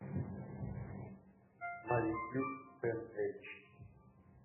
на ютьюб тэнэйдж